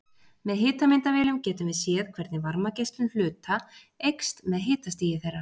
Með hitamyndavélum getum við séð hvernig varmageislun hluta eykst með hitastigi þeirra.